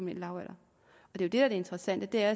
lavalder det der er det interessante er